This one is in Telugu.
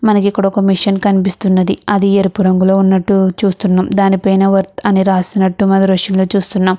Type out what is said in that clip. మనకి ఇక్కడ ఒక మిషన్ కనిపిస్తున్నది. అది ఎరుపు రంగులో ఉన్నట్టు చూస్తున్నాం. దాని పైన వర్త్ అని రాసినట్టు మనం దృష్టిలో చూస్తున్నాం.